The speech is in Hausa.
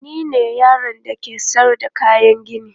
Ni ne yaron da ke sayar da kayan gini.